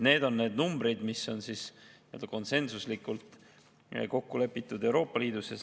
Need on need numbrid, mis on konsensuslikult kokku lepitud Euroopa Liidus.